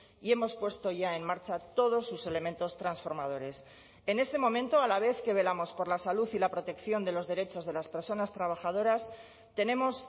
y hemos puesto ya en marcha todos sus elementos transformadores en este momento a la vez que velamos por la salud y la protección de los derechos de las personas trabajadoras tenemos